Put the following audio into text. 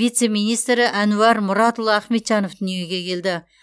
вице министрі әнуар мұратұлы ахметжанов дүниеге келді